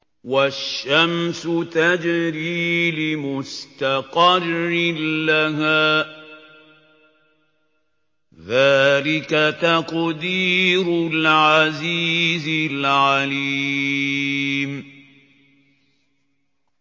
وَالشَّمْسُ تَجْرِي لِمُسْتَقَرٍّ لَّهَا ۚ ذَٰلِكَ تَقْدِيرُ الْعَزِيزِ الْعَلِيمِ